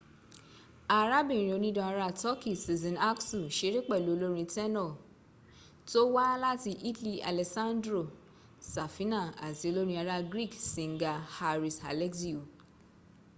arabirin onidan ara turkeyi sezen aksu seré pẹ̀lú olórin tẹ́nọ̀ tó wá láti italy alessandro safina ati olorin ara greek singer haris alexiou